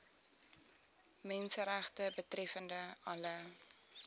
menseregte betreffende alle